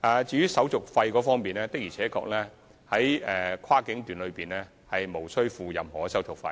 至於手續費方面，在跨境段無需支付任何手續費。